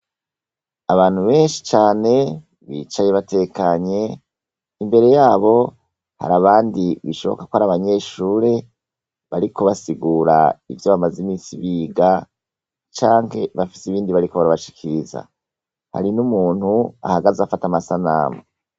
Abantu benshi cane bicaye batekanye ; imbere yabo hari abandi bishoboka kwar'abanyeshure bariko basigura ivyo bamaze imisi biga canke bafise ibindi bariko barabashikiriza. Hari n'umuntu ahagaze afata amasanamu.